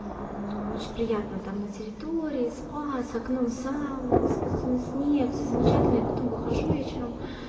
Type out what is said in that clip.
очень приятно там на территории спа с окном сауна искусственный снег всё замечательно и потом выхожу вечером